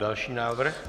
Další návrh.